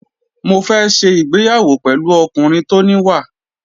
Mo fẹ́ ṣe ìgbéyàwó pẹ̀lú ọkùnrin tó níwà.